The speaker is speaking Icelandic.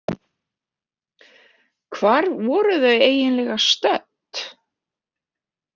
Hvar voru þau eiginlega stödd?